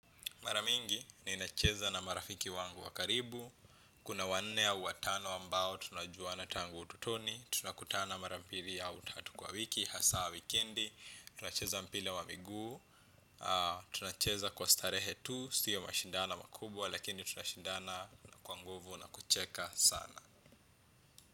Maramingi, ninacheza na marafiki wangu wa karibu. Kuna wanne au watano ambao tunajuana tangu ututoni. Tunakutana mara mbili au tatu kwa wiki hasa wikendi, tunacheza mpira wa miguu, tunacheza kwa starehe tu, sio mashindano makubwa, lakini tunashindana kwa nguvu na kucheka sana.